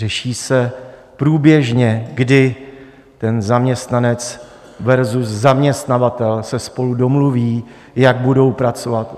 Řeší se průběžně, kdy ten zaměstnanec versus zaměstnavatel se spolu domluví, jak budou pracovat.